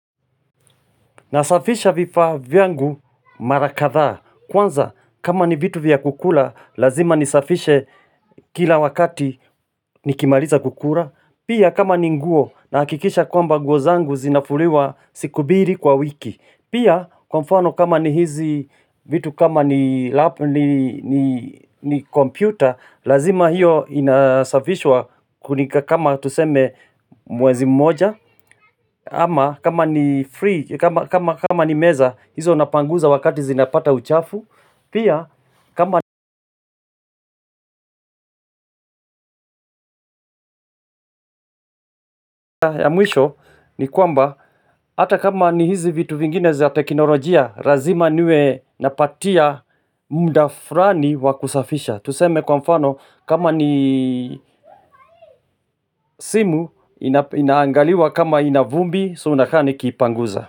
Nasafisha vifaa vyangu mara kadhaa kwanza kama ni vitu vya kukula lazima nisafishe kila wakati nikimaliza kukula pia kama ni nguo nahakikisha kwamba nguo zangu zinafuliwa siku mbili kwa wiki pia kwa mfano kama ni hizi vitu kama ni computer lazima hiyo inasafishwa kama tuseme mwezi mmoja. Ama kama ni meza hizo napanguza wakati zinapata uchafu pia kama ya mwisho ni kwamba hata kama ni hizi vitu vingine za teknolojia lazima niwe napatia muda fulani wa kusafisha tuseme kwa mfano kama ni simu inaangaliwa kama ina vumbi so nakaa nikiipanguza.